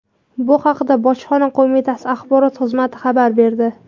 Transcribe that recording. Bu haqda Bojxona qo‘mitasi axborot xizmati xabar berdi.